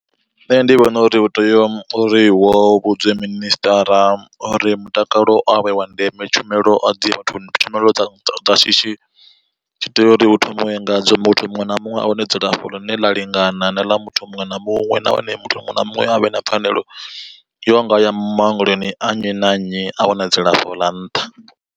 Nṋe ndi vhona uri hu tea uri wo vhudzwe minister uri mutakalo a u vhe wa ndeme tshumelo a dzie vhathuni tshumelo dza shishi dzi tea uri hu thomiwe ngadzo muthu muṅwe na muṅwe a wane dzilafho ḽine ḽa lingana. Na ḽa muthu muṅwe na muṅwe nahone muthu muṅwe na muṅwe a vhe na pfhanelo ino nga ya maongeloni a nnyi na nnyi a wana dzilafho ḽa nṱha.